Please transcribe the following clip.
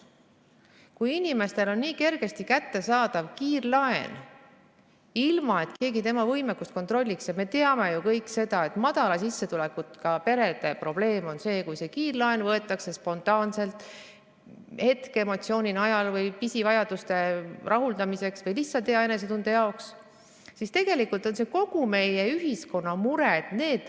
Kui inimestel on niivõrd kerge saada kiirlaenu, sest mitte keegi nende maksevõimekust ei kontrolli, ning nagu me teame, väikese sissetulekuga perede probleem on see, et kiirlaen võetakse spontaanselt, hetkeemotsiooni ajel või pisivajaduste rahuldamiseks või lihtsalt hea enesetunde jaoks, siis tegelikult on see kogu meie ühiskonna mure.